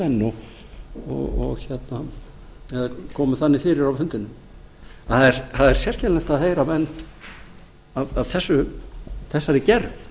menn eða komu þannig fyrir á fundinum en það er sérkennilegt að heyra menn af þessari gerð